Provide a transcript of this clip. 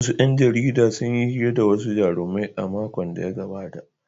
Wasu ‘yan jarida sun yi hira da wasu jarumai a makon da ya gabata.